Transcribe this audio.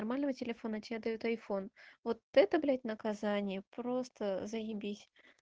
нормального телефона тебе дают айфон вот это блять наказание просто заибись